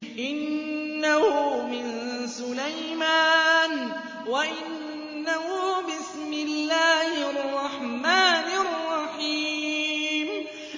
إِنَّهُ مِن سُلَيْمَانَ وَإِنَّهُ بِسْمِ اللَّهِ الرَّحْمَٰنِ الرَّحِيمِ